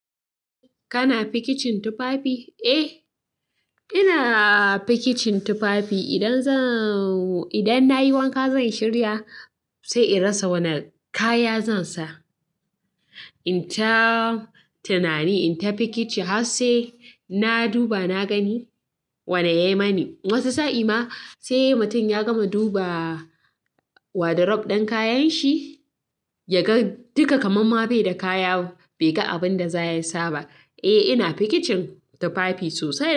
Kana fikicin tufafi? Eh, ina fikicin tufafi. Idan nayi wanka zan shirya sai in rasa wani kaya zan sa. In ta tunani, in ta fikici har sai na duba na gani wane ya yi mani. Wasu sa'a ma sai mutum ya gama duba wadarob ɗan kayan shi ya ga duka kamamma bai da kaya, bai ga abin da za ya saba. Eh, ina fikicin tufafi sosai.